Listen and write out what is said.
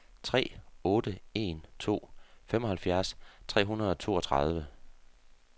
tre otte en to femoghalvfjerds tre hundrede og toogtredive